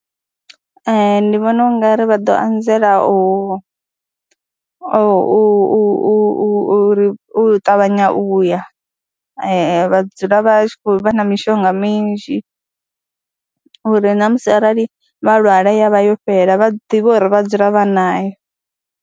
Ee, ndi vhona u nga ri vha ḓo anzela u u u u u ri u ṱavhanya u ya vha dzula vha tshi khou vha na mishonga minzhi uri na musi arali vha lwala ya vha yo fhela vha ḓivhe uri vha dzula vha nayo.